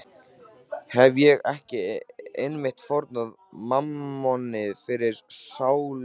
Hefi ég ekki einmitt fórnað mammoni fyrir sálu mína?